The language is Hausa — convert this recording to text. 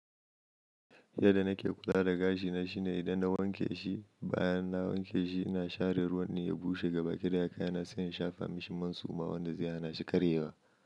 Yadda nake kula da gashina shine idan na wanke shi, bayan na wanke shi ina share ruwan ne ya bushe gaba ɗaya, kayana sanya shafa mishi man suma wanda zai hana shi karyewa.